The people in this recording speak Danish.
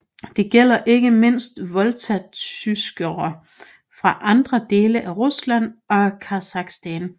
Det gælder ikke mindst volgatyskere fra andre dele af Rusland og Kazakhstan